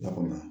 Lakana